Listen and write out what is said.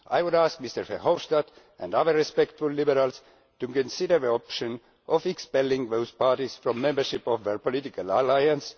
I would ask Mr Verhofstadt and other respectable liberals to consider the option of expelling those parties from membership of their political alliance.